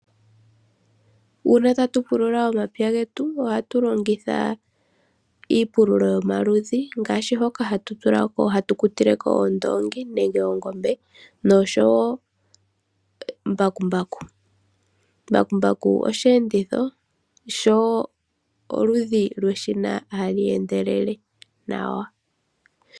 Uuna tatu pulula omapya getu ohatu longitha iipululo yomaludhi ngaashi hoka haku kutilwa oondoongi nenge oongombe nosho woo mbakumbaku. Mbakumbaku osheenditho osho wo oludhi lweshina ha li endelele nawa.